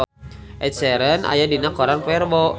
Ed Sheeran aya dina koran poe Rebo